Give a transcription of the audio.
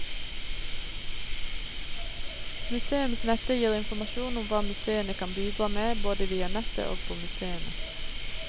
Museumsnettet gir informasjon om hva museene kan bidra med, både via nettet og på museene.